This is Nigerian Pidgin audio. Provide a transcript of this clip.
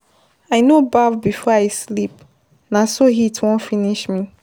I no baff before I sleep, na so heat wan finish me.